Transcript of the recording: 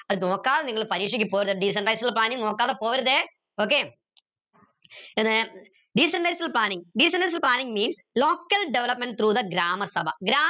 അത് നോക്കാതെ നിങ്ങൾ പരീക്ഷയ്ക്ക് പോകരുത് decentralized planning നോക്കാതെ പോകരുതേ okay പിന്നെ decentralized planning decentralized planning means local development through the grama Sabha ഗ്രാമ